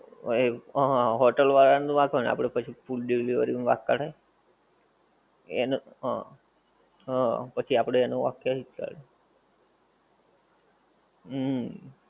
ઓએ હા હા hotel વાળા નો વાક હોએ ને આપડે પછી food delivery નું વાક કાળે એને હ હ પછી આપડે એનું વાક ક્યાંકજ કાઢીયે હમ